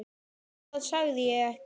Það sagði ég ekki